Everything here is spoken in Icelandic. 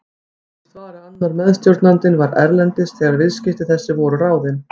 Upplýst var að annar meðstjórnandinn var erlendis þegar viðskipti þessi voru ráðin.